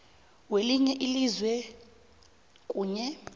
welinye ilizwe kunye